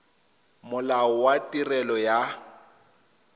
molao wa tirelo ya set